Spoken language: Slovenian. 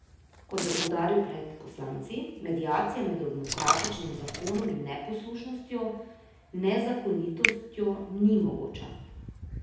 Kot je poudaril pred poslanci, mediacija med demokratičnim zakonom in neposlušnostjo, nezakonitostjo ni mogoča.